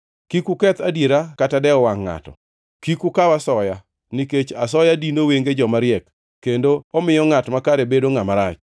Kik uketh adiera kata dewo wangʼ ngʼato, kik ukaw asoya, nikech asoya dino wenge joma riek kendo omiyo ngʼat makare bedo ngʼama rach.